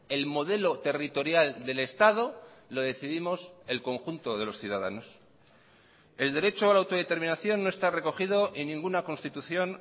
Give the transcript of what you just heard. el modelo territorial del estado lo decidimos el conjunto de los ciudadanos el derecho a la autodeterminación no está recogido en ninguna constitución